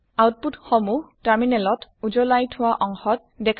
output সমুহ terminal ত দেখাপোৱা যাব উজলাই থোৱা অংশত